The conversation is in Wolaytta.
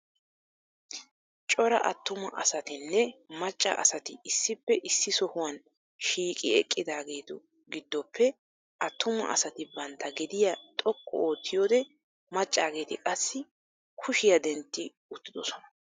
Cora attuma asatinne macca asati issippe issi sohuwan shiiqi eqqidageetu giddoppe attumma asati bantta gediya xoqqu oottiyode maccageeti qassi kushiya dentti uttiddossona.